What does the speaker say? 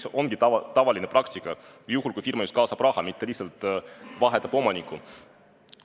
See ongi tavaline praktika juhul, kui firma just kaasab raha, mitte lihtsalt ei vaheta omanikku.